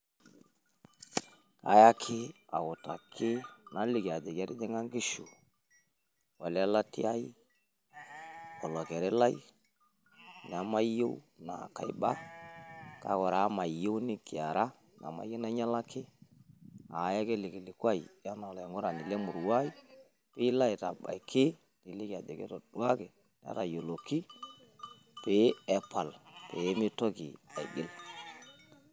Ayaki autaki naliki ajoki etijing'a inkishu ole latia ai olokeri lai namayieu naa kaiba, kake ore amu mayieu nikiara namyieu nainyialaki ayaki ele kilikuai enaa olaing'urani le emurua ai piilo aitabaiki niliki ajoki etoduaki, netayioloki pee epal pee mitoki aigil.